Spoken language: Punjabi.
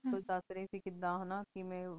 ਬਰੀ ਸਬ ਕੁਛ ਦਸ ਰਹੀ ਸੇ ਕੀੜਾ ਕਿਵੇਯਨ ਬਾਨੀ